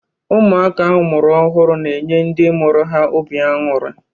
Ụmụaka amụrụ ọhụrụ na-enye ndị mụrụ ha obi añuri